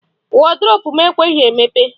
Wọdrobụ m ekweghị emepe.